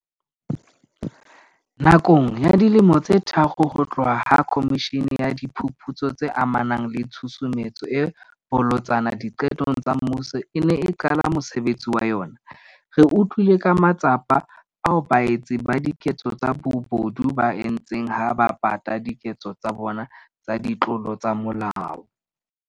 Nakong ya dilemo tse tharo ho tloha ha Khomishene ya Diphuputso tse amanang le Tshusumetso e Bolotsana Diqetong tsa Mmuso e ne e qala mosebetsi wa yona, re utlwile ka matsapa ao baetsi ba diketso tsa bobodu ba a entseng ha ba pata diketso tsa bona tsa ditlolo tsa molao.